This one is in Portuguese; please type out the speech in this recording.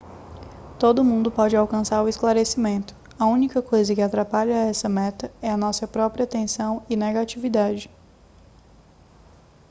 todo mundo pode alcançar o esclarecimento a única coisa que atrapalha essa meta é a nossa própria tensão e negatividade